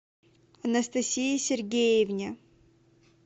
анастасии сергеевне